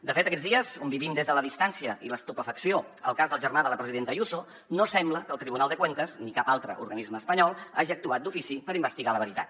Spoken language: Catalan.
de fet aquests dies on vivim des de la distància i l’estupefacció el cas del germà de la presidenta ayuso no sembla que el tribunal de cuentas ni cap altre organisme espanyol hagin actuat d’ofici per investigar la veritat